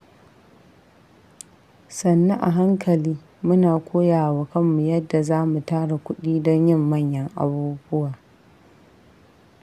Sannu a hankali, muna koya wa kanmu yadda za mu tara kudi don yin manyan abubuwa.